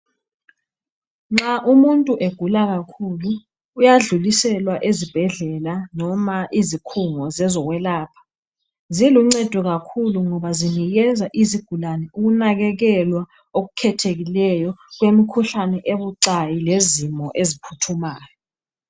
Nxa umuntu egula kakhulu, uyadluliselwa ezibhedlela noma izikhongo zezokwelapha, ziluncedo kakhulu ngoba zinikeza izigulane ukunakekelwa okukhethekileyo kwemikhuhlane ebucayi lezimo eziphuthumayo